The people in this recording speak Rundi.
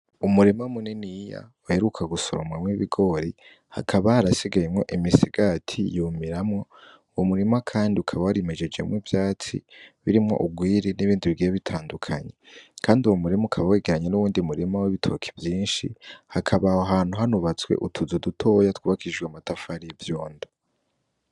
Umurima muniniya baheruka gusoromamwo ibigori hakaba harasigayemwo imisigati yumiramwo uwo murima kandi ukaba wari mejejemwo ivyatsi birimwo urwiri n'ibindi bigiye bitandukanye kandi uwo murima ukaba wegeranye nuwundi murima w'ibitoke vyinshi hakaba aho hantu hanubatswe utuzi dutoya twubakishijwe amatafari y'ivyondo.